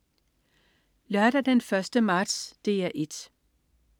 Lørdag den 1. marts - DR 1: